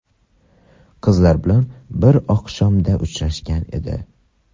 Qiz bilan bir oqshomda uchrashgan edi.